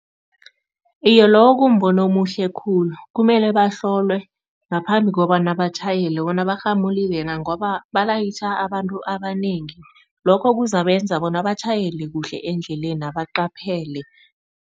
Iye, lowo kumbono omuhle khulu kumele bahlolwe ngaphambi kobana batjhayele bona, barhamulile na? Ngoba balayitjha abantu abanengi, lokho kuzakwenza bona batjhayele kuhle endlelena baqaphele.